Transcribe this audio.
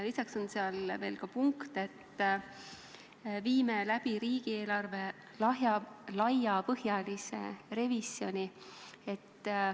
Lisaks on seal ka punkt, et viime läbi riigieelarve laiapõhjalise revisjoni.